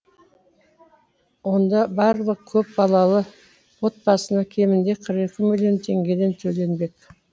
онда барлық көп балалы отбасына кемінде қырық екі мың теңгеден төленбек